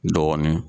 Dɔɔnin